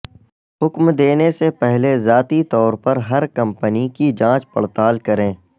حکم دینے سے پہلے ذاتی طور پر ہر کمپنی کی جانچ پڑتال کریں